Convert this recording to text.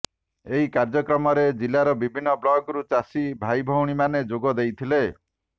ଏହି କାର୍ଯ୍ୟକ୍ରମରେ ଜିଲ୍ଳାର ବିଭିନ୍ନ ବ୍ଳକରୁ ଚାଷି ଭାଇଭଉଣୀମାନେ ଯୋଗ ଦେଇଥିଲେ